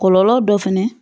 Kɔlɔlɔ dɔ fɛnɛ ye